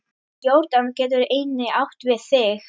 Jórdan getur einnig átt við